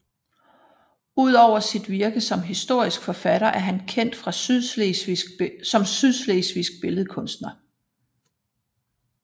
Ud over sit virke som historisk forfatter er han kendt som sydslesvigsk billedkunstner